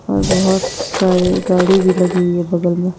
और बहुत सारे गाड़ी भी लगी हुई है बगल में--